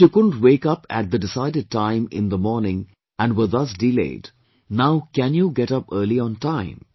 If you couldn't wake up at the decided time in the morning and were thus delayed, now can you get up early on time